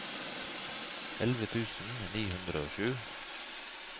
elleve tusen ni hundre og sju